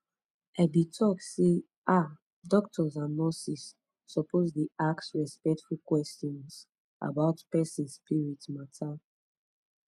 i be talk sey ah doctors and nurses suppose dey ask respectful questions about person spirit matter